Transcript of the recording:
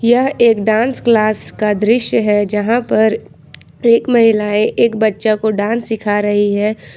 यह एक dance class का दृश्य है जहां पर एक महिलाएं एक बच्चा को डांस सिखा रही है।